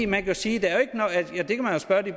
man kan sige